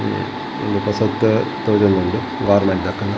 ಒಂಜಿ ಪೊಸತ್ತ್ ತೋಜೊಂದುಂಡು .]